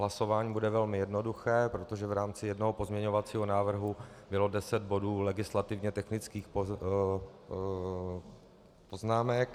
Hlasování bude velmi jednoduché, protože v rámci jednoho pozměňovacího návrhu bylo deset bodů legislativně technických poznámek.